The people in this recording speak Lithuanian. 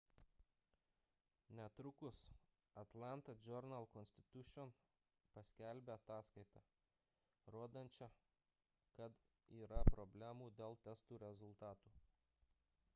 netrukus atlanta journal-constitution paskelbė ataskaitą rodančią kad yra problemų dėl testų rezultatų